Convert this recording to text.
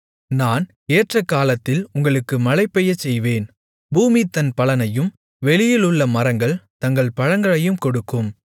நான் ஏற்ற காலத்தில் உங்களுக்கு மழை பெய்யச்செய்வேன் பூமி தன் பலனையும் வெளியிலுள்ள மரங்கள் தங்கள் பழங்களையும் கொடுக்கும்